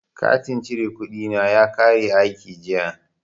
Katin cire kuɗi na ya kare aiki jiya.